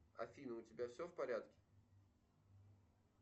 афина у тебя все в порядке